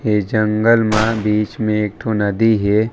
ये जंगल मा बीच म एक ठो नदी हे।